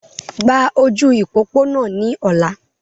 Gba ojú ìpópónà ní ọla!